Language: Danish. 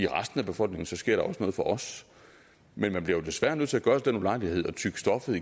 resten af befolkningen så sker der også noget for os men man bliver jo desværre nødt til at gøre sig den ulejlighed at tygge stoffet